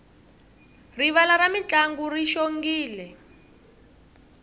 rivala ra mintlangu ri xongile